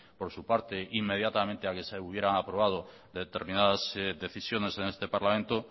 por su parte inmediatamente al que se hubieran aprobado determinadas decisiones en este parlamento